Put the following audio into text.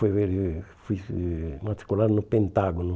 fui fui eh matricular no Pentágono.